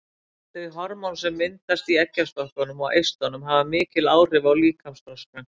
Þau hormón sem myndast í eggjastokkunum og eistunum hafa mikil áhrif á líkamsþroskann.